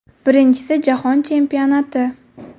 Birinchisi Jahon Chempionati.